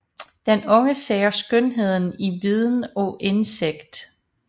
Den unge ser skønheden i viden og indsigt f